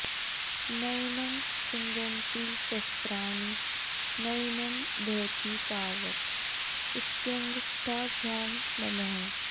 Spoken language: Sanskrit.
नैनं छिन्दन्ति शस्त्राणि नैनं दहति पावक इत्यङ्गुष्ठाभ्यां नमः